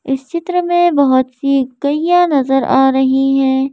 इस चित्र में बहुत सी गैय्या नजर आ रही है।